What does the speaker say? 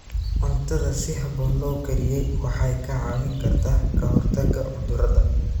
Cuntada si habboon loo kariyey waxay kaa caawin kartaa ka hortagga cudurrada.